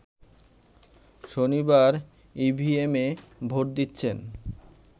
শনিবার ইভিএমে ভোট দিচ্ছেন